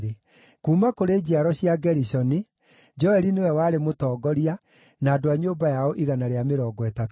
kuuma kũrĩ njiaro cia Gerishoni, Joeli nĩwe warĩ mũtongoria, na andũ a nyũmba yao 130;